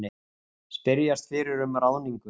Spyrjast fyrir um ráðningu